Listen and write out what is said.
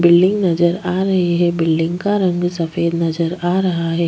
Building नजर आ रही है बिल्डिंग का रंग सफ़ेद नजर आ रहा है।